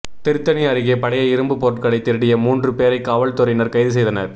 திருத்தணி அருகே பழைய இரும்பு பொருட்களை திருடிய மூன்று பேரை காவல்துறையினர் கைது செய்தனர்